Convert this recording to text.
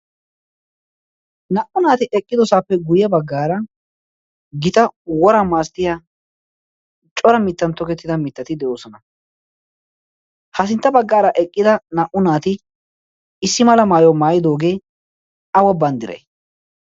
naa77u naati eqqidosaappe guyye baggaara gita wora maasttiya cora mittan tokettida mittati de7oosona. ha sintta baggaara eqqida naa77u naati issi mala maayo maayidoogee awa banddirai?